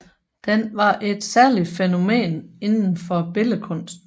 Den var et særligt fænomen inden for billedkunsten